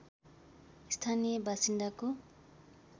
स्थानीय बासिन्दाको